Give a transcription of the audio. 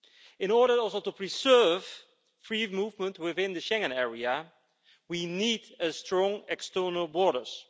In order also to preserve free movement within the Schengen area, we need strong external borders.